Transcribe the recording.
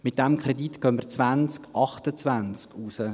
Mit diesem Kredit gehen wir 2028 raus.